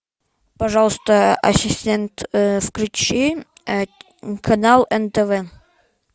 пожалуйста ассистент включи канал нтв